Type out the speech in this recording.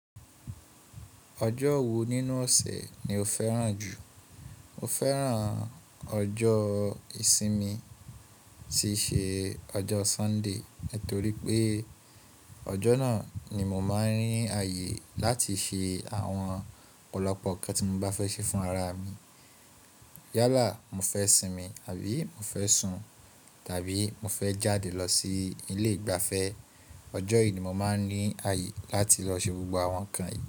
Ọjọ́ wo nínú ọ̀sẹ̀ ni o fẹ́ran jù? Mo fẹ́ran ọjọ́ ìsinmi tí ṣe ọjọ́ Sunday, torí pé ọjọ́ náà ni mo máa ń ní àyè láti ṣe àwọn ọ̀pọ̀lọpọ̀ nǹkan tí mo bá fẹ́ ṣe fún ara mi. Yálà mo fẹ́ sinmi, àbí mo fẹ́ sun, tàbí mo fẹ́ jáde lọ sí ilé ìgbafẹ́, ọjọ́ yìí ni mo máa ń ní àyè láti lọ ṣe gbogbo àwọn nǹkan yìí.